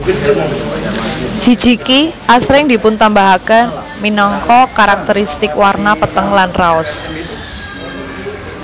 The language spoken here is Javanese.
Hijiki asring dipuntambahaken minangka karakterisitik warna peteng lan raos